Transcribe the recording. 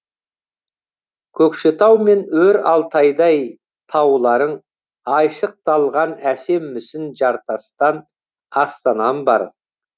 көкшетау мен өр алтайдай тауларың айшықталған әсем мүсін жартастан астанам бар